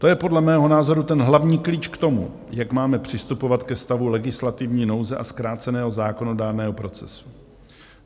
To je podle mého názoru ten hlavní klíč k tomu, jak máme přistupovat ke stavu legislativní nouze a zkráceného zákonodárného procesu.